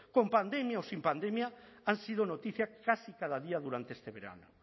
con pandemia o sin pandemia han sido noticia casi cada día durante este verano